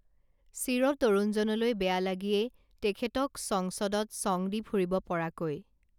চিৰতৰুণজনলৈ বেয়া লাগিয়েই তেখেতক চংচদত চং দি ফুৰিব পৰাকৈ